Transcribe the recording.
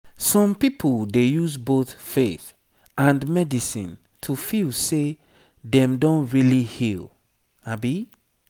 some people dey use both faith and medicine to feel say dem don really heal